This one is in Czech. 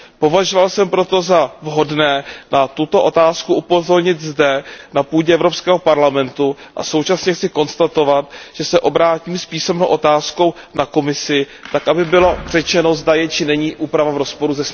Považoval jsem proto za vhodné na tuto otázku upozornit zde na půdě Evropského parlamentu a současně chci konstatovat, že se obrátím s písemnou otázkou na Komisi tak, aby bylo řečeno, zda je či není úprava v rozporu se směrnicí.